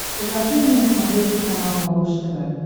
покажи мне на смотрешке канал малыш тв